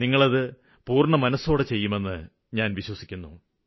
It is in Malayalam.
നിങ്ങള് അത് പൂര്ണ്ണമനസ്സോടെ ചെയ്യുമെന്ന് ഞാന് വിശ്വസിക്കുന്നു